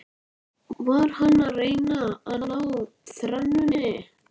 Nú örvænti hann ekki um lífsviðurværi.